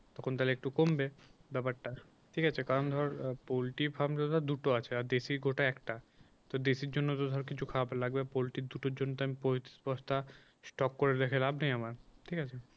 তখন তাহলে একটু কমবে ব্যাপারটা ঠিক আছে, কারণ ধর পোল্ট্রি frame তোর ধর দুটো আছে আর দেশি কটা একটা তো দেশি এর জন্য তো ধর কিছু খাবার তো লাগবে পোল্টির দুটোর জন্য তো আমি পঁয়ত্রিশ বস্তা স্টক করে রেখে লাভ নেই আমার ঠিক আছে